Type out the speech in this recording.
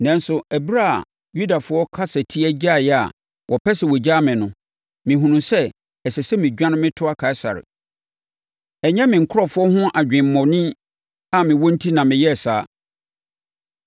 Nanso, ɛberɛ a Yudafoɔ kasatia gyaeɛ a wɔpɛ sɛ wɔgyaa me no, mehunuu sɛ, ɛsɛ sɛ medwane metoa Kaesare. Ɛnyɛ me nkurɔfoɔ ho adwemmɔne a mewɔ enti na meyɛɛ saa.